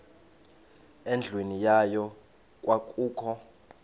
endlwini yayo kwakukho